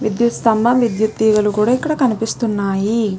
విద్యుత్ స్థంభం విద్యుత్ తీగలు కూడా ఇక్కడ కనిపిస్తున్నాయి .